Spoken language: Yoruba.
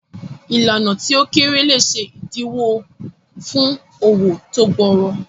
Ìlànà tí ó kéré lè ṣe ìdíwọ́ fún òwò tó gbòòrò.